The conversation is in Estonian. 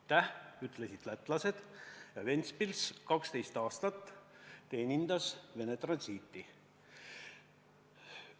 Lätlased ütlesid aitäh ja Ventspils teenindas 12 aastat Vene transiiti.